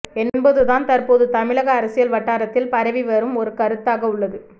என்பதுதான் தற்போது தமிழக அரசியல் வட்டாரத்தில் பரவி வரும் ஒரு கருத்தாக உள்ளது